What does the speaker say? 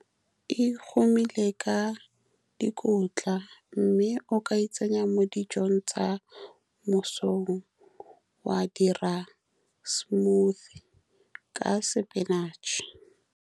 E humile ka dikotla, mme o ka e tsenya mo dijong tsa mo mosong wa dira smoothie ka sepinatšhe.